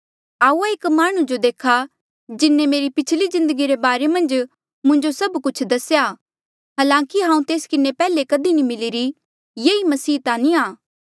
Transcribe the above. आऊआ एक माह्णुं जो देखा जिन्हें मेरी पिछली जिन्दगी रे बारे मन्झ मुंजो सभ कुछ दसेया हलांकि हांऊँ तेस किन्हें पैहले कधी नी मिली ऐई मसीह ता नी आ